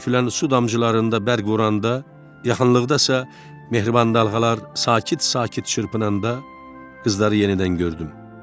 Filan su damcılarında bərq vuranda, yaxınlıqda isə mehriban dalğalar sakit-sakit çırpınanda, qızları yenidən gördüm.